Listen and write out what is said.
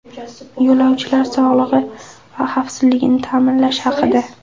Yo‘lovchilar sog‘lig‘i va xavfsizligini ta’minlash haqida.